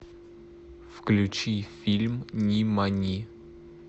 включи фильм нимани